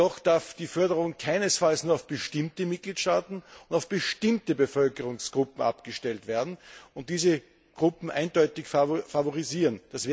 Jedoch darf die Förderung keinesfalls nur auf bestimmte Mitgliedstaaten und auf bestimmte Bevölkerungsgruppen abgestellt werden und diese Gruppen eindeutig favorisieren.